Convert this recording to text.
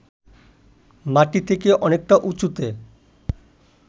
মাটি থেকে অনেকটা উঁচুতে